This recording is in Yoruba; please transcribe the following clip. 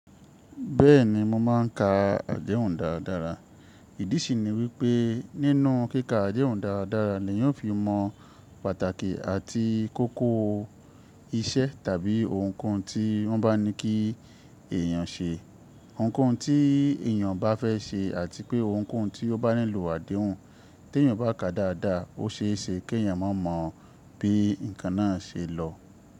Bẹ́ẹ̀ni mo máa ń ka àdehùn dáadára. Ìdí sì ni wípé nínú kíkà àdehun dáadáa ni yan fi mọ pàtàkì àti kókó iṣẹ́ tàbí ohunkóhun tí wọ́n bá ní kí èèyàn ṣe. Ohunkóhun tí èèyàn bá fẹ́ ṣe àti pé ohunkóhun tí ó bá nílò àdéhùn. Tí èèyàn bá kà á dáadáa, ó ṣe é ṣe kí èèyàn má mọ bí ǹkan náà ṣe lọ.